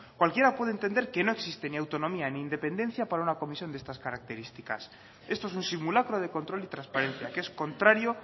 cualquiera puede entender que no existe ni autonomía ni independencia para una comisión de estas características esto es un simulacro de control y transparencia que es contrario